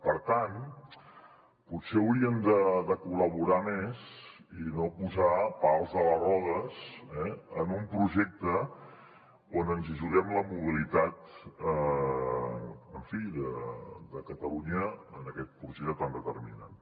per tant potser haurien de col·laborar més i no posar pals a les rodes en un projecte on ens juguem la mobilitat en fi de catalunya en aquest projecte tan determinant